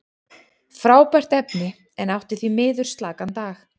Frábært efni, en átti því miður slakan dag.